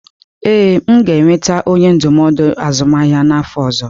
Ee, m ga-enweta onye ndụmọdụ azụmahịa n'afọ ọzọ.